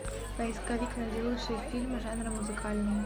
поисковик найди лучшие фильмы жанра музыкальный